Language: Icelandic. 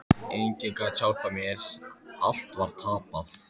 Enginn gat hjálpað mér, allt var tapað.